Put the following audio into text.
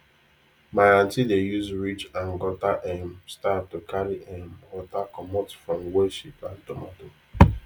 my aunty dey use ridge and gutter um style to carry um water commot from where she plant tomato